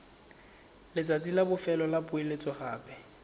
letsatsi la bofelo la poeletsogape